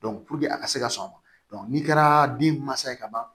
a ka se ka sɔn o ma n'i kɛra bin mansa ye ka ban